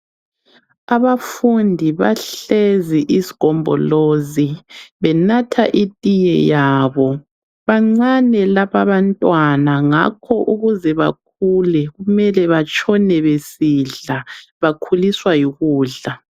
Abafundi bahlezi isigombolozi, benatha itiye yabo. Bancane lababantwana, ngakho ukuze bakhule kumele batshone besidla. Bakhuliswa yikudla.